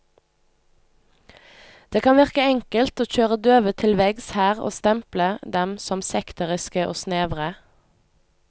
Det kan virke enkelt å kjøre døve til veggs her og stemple dem som sekteriske og snevre.